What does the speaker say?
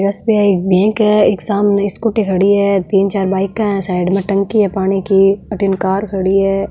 S B I bank है इक सामने एक स्कूटी खड़ी है तीन चार बाइक है साइड में टंकी है पानी की अठन कार खड़ी है।